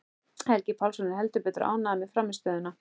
Helgi Pálsson er heldur betur ánægður með frammistöðuna.